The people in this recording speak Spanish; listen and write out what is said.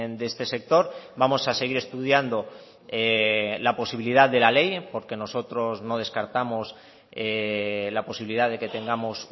de este sector vamos a seguir estudiando la posibilidad de la ley porque nosotros no descartamos la posibilidad de que tengamos